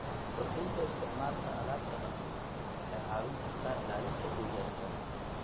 Kordhinta isticmaalka alaabta dhaqameed waxay caawin kartaa ilaalinta deegaanka.